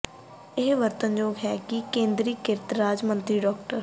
ਇਹ ਵਰਣਨਯੋਗ ਹੈ ਕਿ ਕੇਂਦਰੀ ਕਿਰਤ ਰਾਜ ਮੰਤਰੀ ਡਾ